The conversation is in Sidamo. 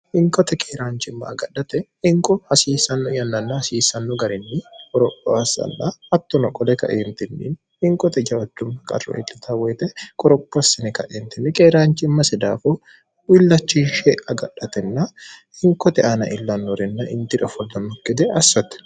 hinkote keeraanchimma agadhate hinqo hasiissanno yannanna hasiissanno garinni qoropho assalla hattono qole kaeentinni hinqote jaacunma qatro itlita woyite qorophoossine kaeentinni qeeraanchimmasi daafo billachishe agadhatenna hinkote aana illannorinna intidofollomno gede assotte